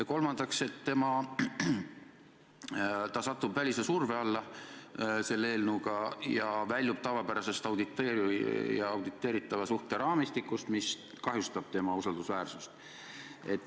Ja kolmandaks: ta satub selle eelnõu kohaselt välise surve alla ja väljub oma tavapärasest auditeerija ja auditeeritava suhte raamistikust ning see kahjustab tema usaldusväärsust.